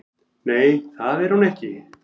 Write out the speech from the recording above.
Nei, það er hún ekki